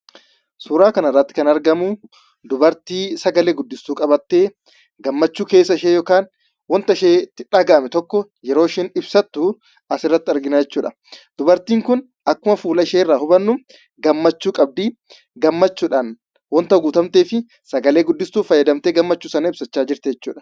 Suuraa kanarratti kan argamu dubartii sagalee guddiftuu qabattee gammachuu keessa ishee yookaan wanta isheetti dhagahame tokko yeroo isheen ibsattu asirratti argina jechuudha. Dubartiin kun akkuma fuula isheerraa hubannu, gammachuu qabdi. Gammachuudhaan waan guutamteef sagalee guddiftuu fayyadamtee gammachuu ishee ibsachaa jirti jechuudha.